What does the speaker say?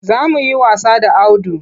Za mu yi wasa da Audu.